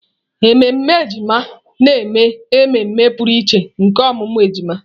Ememe ejima na-eme ememe pụrụ iche nke ọmụmụ ejima.